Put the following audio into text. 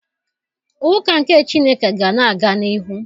Ụka nke Chineke ga na-aga n'ihu